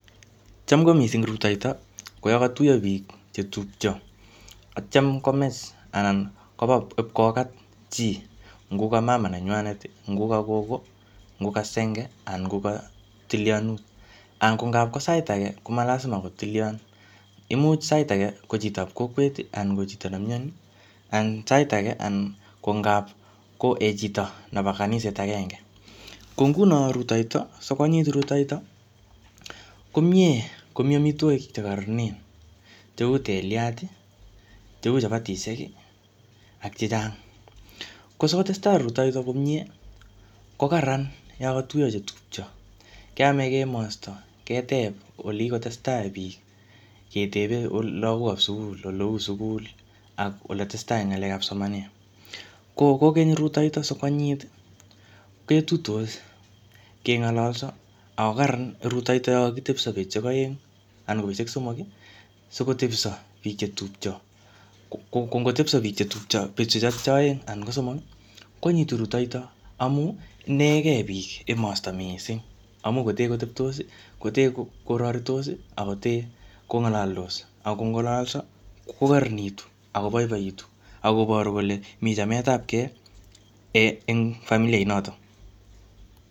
Cham ko missing rutoito, ko yokotuyo biik che tupcho. Atyam komech anan koba ipkokat chi. Ngoko mama nenywanet, ngoko gogo, ngoko senge, anan ngoko tilianutik. Anan ngokap ko sait age, koma lasima ko tilian. Imuch sait age, ko chitop kokwet, anan ko chito nemyoni. Anan sait age, anan ko ngapkoek chito nebo kaniset agenge. Ko nguno rutoito, sikwanyinyit rutoito, ko miee komii amitwogik che kararnen, cheu teliat, cheu chapatishek, ak chechang. Ko sikotestai rutoito komyee, ko kararan yokotuyo chetupcho. Keame kemastai, keteb ole kikotestai biik. Keteb lagok ap sukul, ole uu sugul ak ole testai ngalek ap somanet. Ko kokeny rutoito sikwanyinyit, ketuitos, kengololso, ako kararan rutoito yokokitepso betushek aeng anan ko betushek somok, sikotepso biik chetupcho. Ko ngotepso biik chetupcho betushek chotok aeng, anan ko somok, ko anyinyitu rutoito amu inegey biik emosto missing. Amu kotee koteptos, kotee koraritos, akotee kongalaldos, akongololso, ko kararanitu, ako boiboitu. Akoboru kole miy chametapkey eng familia inotok.